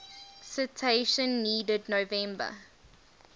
citation needed november